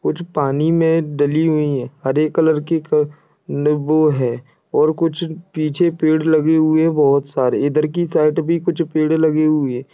कुछ पानी में डली हुई हैं। हरे कलर की नीबू है और कुछ पीछे पेड़ लगे हुए बहोत सारे। इधर की साइड भी कुछ पेड़ लगे हुए।